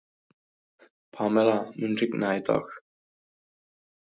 Pamela, mun rigna í dag?